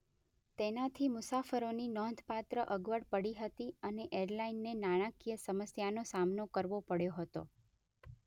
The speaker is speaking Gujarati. તેનાથી મુસાફરોની નોંધપાત્ર અગવડ પડી હતી અને એરલાઇને નાણાકીય સમસ્યાનો સામનો કરવો પડ્યો હતો.